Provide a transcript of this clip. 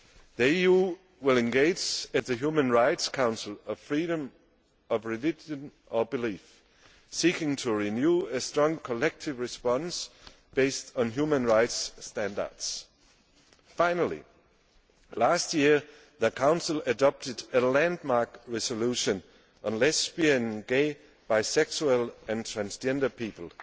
The EU will engage at the Human Rights Council for freedom of religion or belief, seeking to renew a strong collective response based on human rights standards. Finally, last year the Council adopted a landmark resolution on lesbian, gay, bisexual and transgender people,